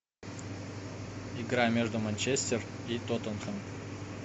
игра между манчестер и тоттенхэм